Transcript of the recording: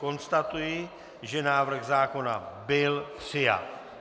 Konstatuji, že návrh zákona byl přijat.